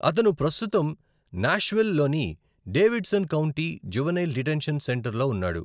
అతను ప్రస్తుతం నాష్విల్ లోని డేవిడ్సన్ కౌంటీ జువెనైల్ డిటెన్షన్ సెంటర్లో ఉన్నాడు.